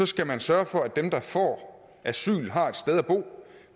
skal man sørge for at dem der får asyl har et sted at bo